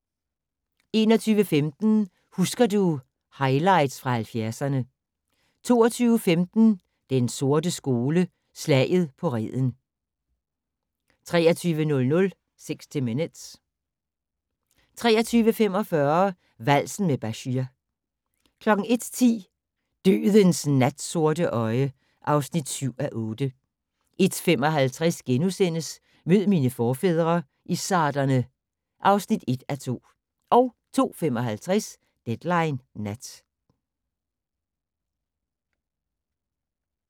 21:15: Husker du - highlights fra 70'erne 22:15: Den sorte skole: Slaget på Reden 23:00: 60 Minutes 23:45: Valsen med Bashir 01:10: Dødens natsorte øje (7:8) 01:55: Mød mine forfædre - izzarderne (1:2)* 02:55: Deadline Nat